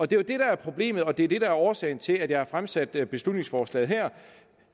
det er det der er problemet det der er årsagen til at jeg har fremsat det her beslutningsforslag